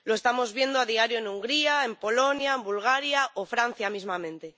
Lo estamos viendo a diario en Hungría, en Polonia, en Bulgaria o en Francia mismamente.